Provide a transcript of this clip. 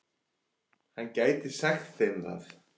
Hann gæti sagt þeim það.